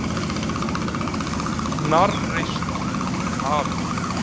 Hnarreist um hafið.